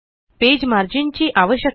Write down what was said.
page margin ची आवश्यकता